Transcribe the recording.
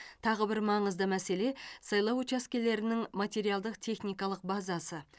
тағы бір маңызды мәселе сайлау учаскелерінің материалдық техникалық базасы